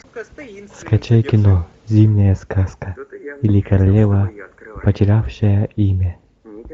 скачай кино зимняя сказка или королева потерявшая имя